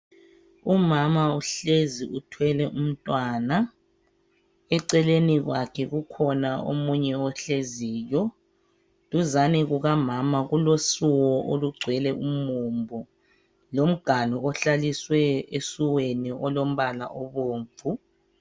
umama uhlezi uthwele umntwana eceleni kwakhe kukhona omunye ohleziyo duzane kukamama kulo suwo olugcwele umumbu lomganu ohlaliswe esuweni olombala obomvu